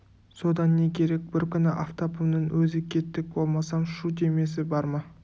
содан не керек бір күні афтабымның өзі кеттік болмасам шу демесі бар ма